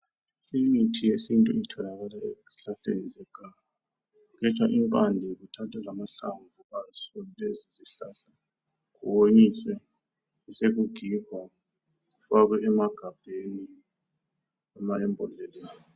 Imithi yesintu itholakala ezihlahleni zeganga. Kuthathwa impande kuthathwe lamahlamvu aso lesisihlahla kuwonyiswe besekugigwa kufakwe emagabheni loba emambodleleni.